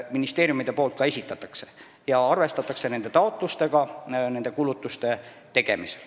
Nende taotlustega arvestatakse ka kulutuste tegemisel.